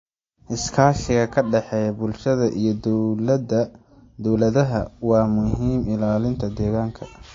Iskaashiga ka dhexeeya bulshada iyo dowladaha waa muhiim ilaalinta deegaanka.